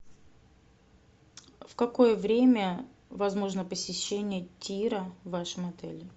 в какое время возможно посещение тира в вашем отеле